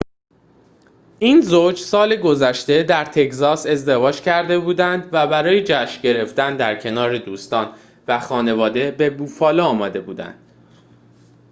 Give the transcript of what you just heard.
این زوج سال گذشته در تگزاس ازدواج کرده بودند و برای جشن گرفتن در کنار دوستان و خانواده به بوفالو آمده بودند